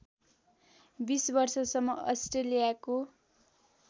बीस वर्षसम्म अस्ट्रेलियाको